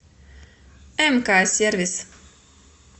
мк сервис